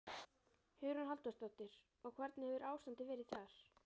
Hugrún Halldórsdóttir: Og hvernig hefur ástandið verið þar?